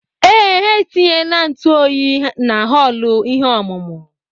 Ee, ha etinyela ntụ oyi na họọlụ ihe ọmụmụ.